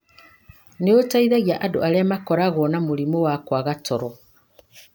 nĩ ũteithagia andũ arĩa makoragwo na mũrimũ wa kwaga toro.